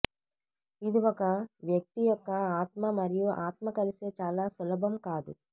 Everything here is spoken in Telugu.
ఇది ఒక వ్యక్తి యొక్క ఆత్మ మరియు ఆత్మ కలిసే చాలా సులభం కాదు